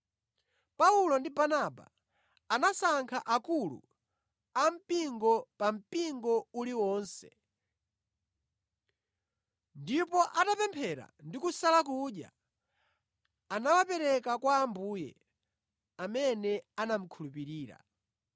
Paulo ndi Barnaba anasankha akulu ampingo pa mpingo uliwonse, ndipo atapemphera ndi kusala kudya anawapereka kwa Ambuye amene anamukhulupirira.